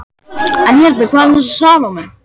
En hérna- hvað um þessa Salóme?